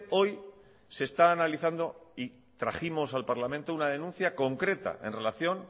hoy se está analizando y trajimos al parlamento una denuncia concreta en relación